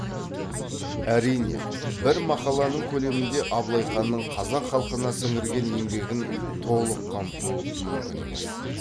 әрине бір мақаланың көлемінде абылай ханның қазақ халқына сіңірген еңбегін толық қамту мүмкін емес